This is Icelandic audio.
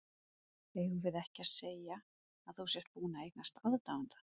Eigum við ekki að segja að þú sért búinn að eignast aðdáanda!